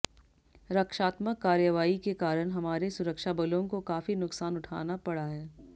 रक्षात्मक कार्यवाई के कारण हमारे सुरक्षाबलों को काफी नुकसान उठाना पड़ा है